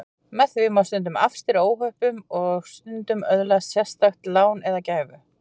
Með því má stundum afstýra óhöppum og stundum öðlast sérstakt lán eða gæfu.